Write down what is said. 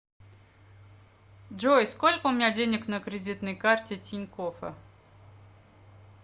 джой сколько у меня денег на кредитной карте тинькоффа